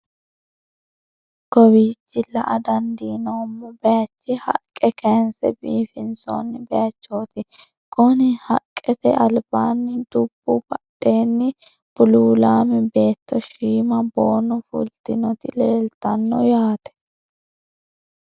Kawiichi la'a dandinoommo baaychi haqqe kaayinse biifinsoonni baaychooti konni haqqete albaanni dubbu badheenni buluulaame baatto shiima boono fultinoti leeltanno yaate.